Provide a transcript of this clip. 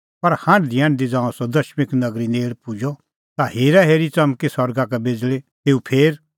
पर हांढदीहांढदी ज़ांऊं सह दमिश्क नगरी नेल़ पुजअ ता हेराहेरी च़मकी सरगा का बिज़ल़ी तेऊ फेर